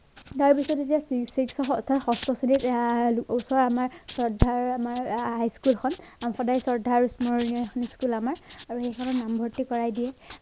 তাৰ বিষয়ে তেতিয়া six খস্ত শ্ৰেণীত ওচৰ আমাৰ স্বধাৰ আমাৰ high school খন সাংহদায়ী স্বধাৰ স্মৰণীয় এখন school আমাৰ আৰু সেইখনত নামভৰ্ত্তি কৰাই দিয়ে।